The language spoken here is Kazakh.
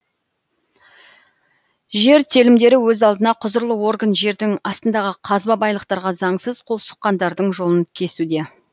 жер телімдері өз алдына құзырлы орган жердің астындағы қазба байлықтарға заңсыз қол сұққандардың жолын кесуде